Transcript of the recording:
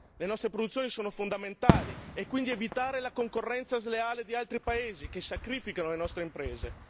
Le nostre produzioni sono fondamentali e quindi evitare la concorrenza sleale di altri paesi, che sacrificano le nostre imprese.